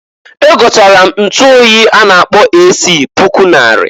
Egotara m ntuoyi a na-akpọ AC puku nnarị.